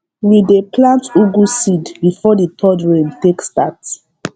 we dey plant ugu seed before the third rain take start